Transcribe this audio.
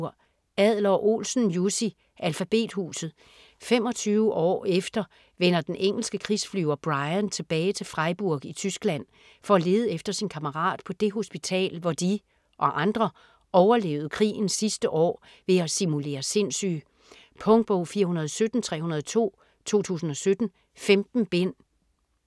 Adler-Olsen, Jussi: Alfabethuset 25 år efter vender den engelske krigsflyver Bryan tilbage til Freiburg i Tyskland for at lede efter sin kammerat på det hospital hvor de - og andre - overlevede krigens sidste år ved at simulere sindssyge. Punktbog 417302 2017. 15 bind.